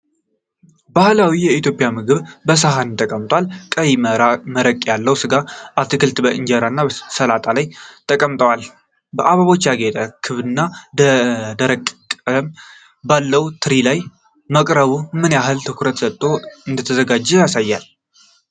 ባህላዊ የኢትዮጵያ ምግብ በሳህን ተቀምጧል፤ ቀይ መረቅ ያለው ስጋ እና አትክልቶች ከእንጀራ እና ሰላጣ ጋር ተቀምጠዋል። በአበቦች ያጌጠ ክብና ደማቅ ቀለም ባለው ትሪ ላይ ማቅረቡ ምን ያህል ትኩረት ሰጥቶ እንደተዘጋጀ ያሳያል?